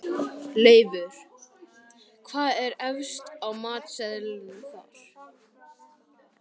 Leifur, hvað er efst á matseðlinum þar?